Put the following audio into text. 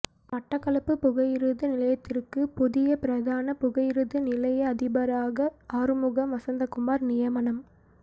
மட்டக்களப்பு புகையிரத நிலையத்திற்கு புதிய பிரதான புகையிரத நிலைய அதிபராக ஆறுமுகம் வசந்தகுமார் நியமனம்